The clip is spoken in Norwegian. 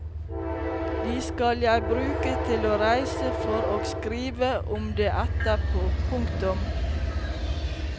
De skal jeg bruke til å reise for og skrive om det etterpå. punktum